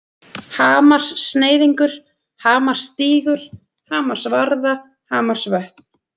Hamarssneiðingur, Hamarsstígur, Hamarsvarða, Hamarsvötn